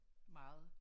Meget